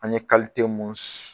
An ye mun s